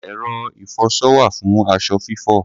Ẹ̀rọ ìfọṣọ wà fún aṣọ fífọ̀.